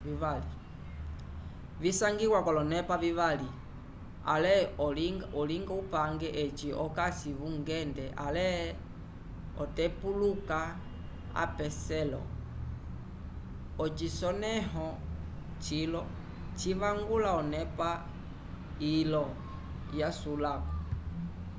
visangiwa k'olonepa vivali ale olinga upange eci okasi vungende ale otepuluka apeselo ocisonẽho cilo civangula onepa ilo yasulako